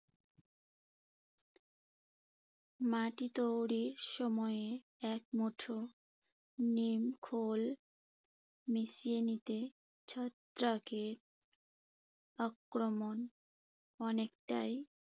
মাটি তৈরির সময়ে এক মুঠো নিম খৈল মিশিয়ে নিতে। ছত্রাকের আক্রমণ অনেকটাই